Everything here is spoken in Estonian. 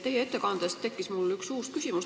Teie ettekande põhjal tekkis mul üks uus küsimus.